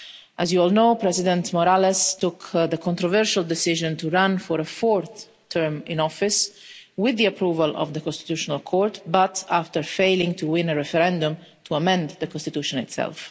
As you all know, President Morales took the controversial decision to run for a fourth term in office, with the approval of the Constitutional Court but after failing to win a referendum to amend the Constitution itself.